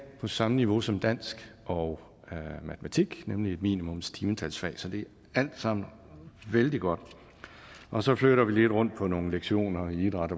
på samme niveau som dansk og matematik nemlig et minimumstimetalsfag så det er alt sammen vældig godt og så flytter vi lidt rundt på nogle lektioner i idræt